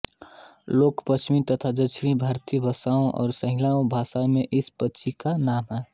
लेकिन पश्चिमी तथा दक्षिणी भारतीय भाषाओं और सिंहला भाषा में इस पक्षी का नाम है